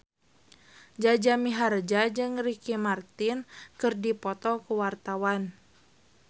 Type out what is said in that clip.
Jaja Mihardja jeung Ricky Martin keur dipoto ku wartawan